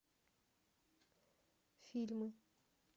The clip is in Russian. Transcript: фильмы